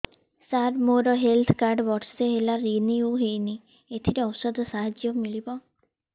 ସାର ମୋର health card ବର୍ଷେ ହେଲା ରିନିଓ ହେଇନି ଏଥିରେ ଔଷଧ ସାହାଯ୍ୟ ମିଳିବ